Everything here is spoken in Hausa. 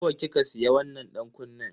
Nawa kika siya wannan dankunnen?